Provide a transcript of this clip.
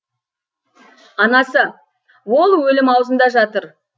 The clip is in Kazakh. анасы ол өлім аузында жатыр